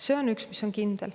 See on üks mis kindel.